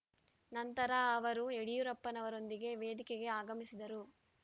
ನಂತರ ಅವರು ಯಡಿಯೂರಪ್ಪನವರೊಂದಿಗೆ ವೇದಿಕೆಗೆ ಆಗಮಿಸಿದರು